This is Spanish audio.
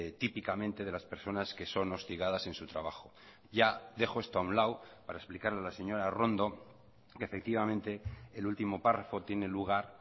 típicamente de las personas que son hostigadas en su trabajo ya dejo esto a un lado para explicarle a la señora arrondo que efectivamente el último párrafo tiene lugar